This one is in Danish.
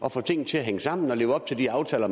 at få tingene til at hænge sammen at leve op til de aftaler